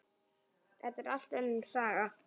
Þetta er allt önnur saga!